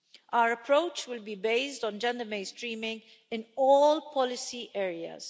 Our approach will be based on gender-mainstreaming in all policy areas.